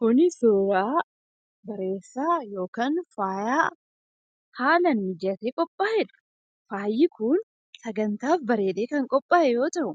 Kun suura bareedaa yookaan faaya haalaan mijatee qophaa'edha. Faayyi kun sagantaaf bareedee kan qophaa'e yeroo ta'u,